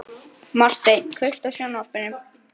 Marteinn, kveiktu á sjónvarpinu.